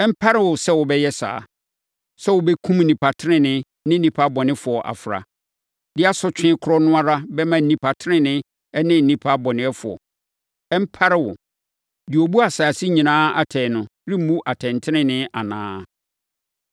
Ɛmpare wo sɛ wobɛyɛ saa, sɛ wobɛkum nnipa tenenee ne nnipa bɔnefoɔ afra, de asotwe korɔ no ara bɛma nnipa tenenee ne nnipa bɔnefoɔ. Ɛmpare wo! Deɛ ɔbu asase nyinaa atɛn no remmu atɛntenenee anaa?”